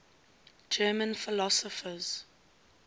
german philosophers